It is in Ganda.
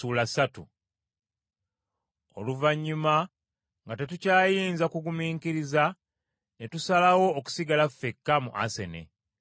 Oluvannyuma nga tetukyayinza kugumiikiriza ne tusalawo okusigala ffekka mu Asene.